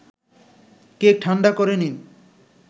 cake ঠাণ্ডা করে নিন